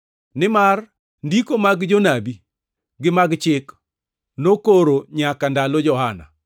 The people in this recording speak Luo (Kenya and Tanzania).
Nimar ndiko mag jonabi gi mag chik nokoro nyaka ndalo Johana.